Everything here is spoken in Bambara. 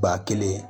Ba kelen